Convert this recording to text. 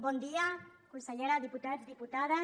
bon dia consellera diputats diputades